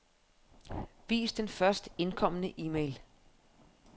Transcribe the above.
Vis den først indkomne e-mail.